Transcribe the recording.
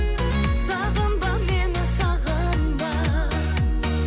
сағынба мені сағынба